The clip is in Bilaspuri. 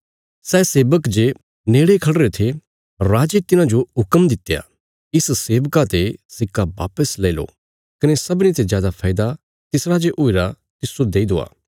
सै सेबक जे नेड़े खढ़िरे थे राजे तिन्हाजो हुक्म दित्या इस सेवका ते सिक्का वापस लैई लो कने सबनीं ते जादा फैदा तिस राजे हुईरा तिस्सो देई दवा